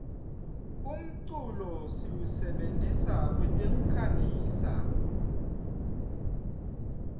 umculo siwusebentisa kwetekukhangisa